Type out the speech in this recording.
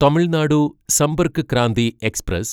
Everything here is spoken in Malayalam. തമിൾനാടു സമ്പർക്ക് ക്രാന്തി എക്സ്പ്രസ്